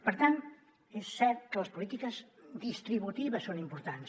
per tant és cert que les polítiques distributives són importants